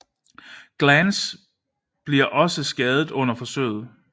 Glance bliver også skadet under forsøget